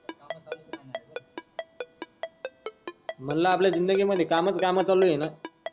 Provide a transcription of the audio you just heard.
मनला आपल्या जिंदगी मध्ये कामच काम चालू आहे न,